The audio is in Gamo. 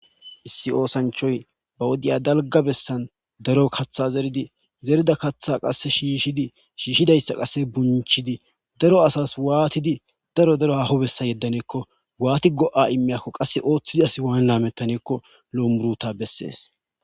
issi oosanchoy ba wodiya dalga bessan daro katha zeridi zerida kaththa qasse shiishidi shiishshidayssa qasse bunchidi daro asas waatidi daro daro haho bessa yeddaneekko waati go7a immiyakko qasse ooththidi asi waan laamettaneekko lo7o muruta bessees